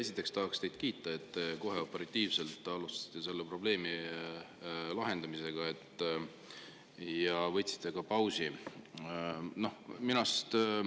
Esiteks tahaks teid kiita, et te kohe operatiivselt alustasite selle probleemi lahendamisega ja ka pausi.